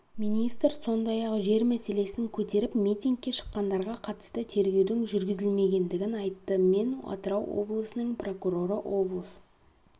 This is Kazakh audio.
министр сондай-ақ жер мәселесін көтеріп митингке шыққандарға қатысты тергеудің жүргізілмегендігін айтты мен атырау облысының прокуроры облыс